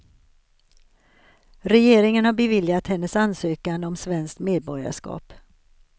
Regeringen har beviljat hennes ansökan om svenskt medborgarskap.